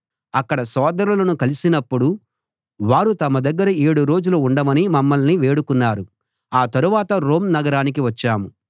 అక్కడి సోదరులను కలిసినప్పుడు వారు తమ దగ్గర ఏడు రోజులు ఉండమని మమ్మల్ని వేడుకున్నారు ఆ తరువాత రోమ్ నగరానికి వచ్చాం